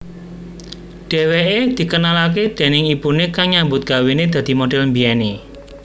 Dheweké dikenalaké déning ibuné kang nyambut gawené dadi model mbiyené